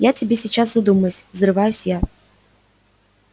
я тебе сейчас задумаюсь взрываюсь я